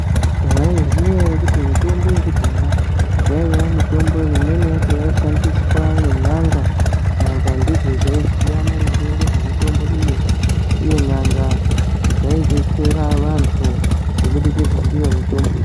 Mwaizviziya ere kuti mutombo yekudhaya yaiye mutombo imweni yacho yaishandiswa ngen'anga nyanga ndidzo dzaiziya maringe ngezvemutombo iyi uye nyanga dzaidetsera vantu kubudikidza ndiyo mutombo iyi.